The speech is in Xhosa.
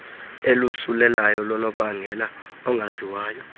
olosulelayo lonobangela ongaziwayo